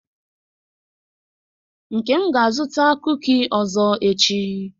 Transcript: Nkem ga-azụta kuki ọzọ echi.